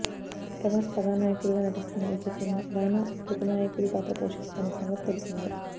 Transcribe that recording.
ప్రభాస్ కథానాయకుడిగా నటిస్తున్న ఈ చిత్రంలో రానా ప్రతినాయకుడి పాత్ర పోషిస్తున్న సంగతి తెలిసిందే